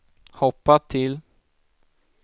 hoppa till